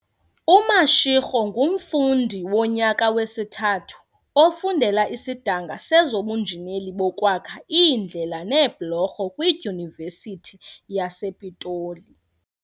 UMashego ngumfundi wonyaka wesithathu ofundela isidanga sezobunjineli bokwakha iindlela neebhulorho kwiDyunivesithi yasePitoli.